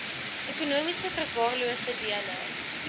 ekonomies verwaarloosde dele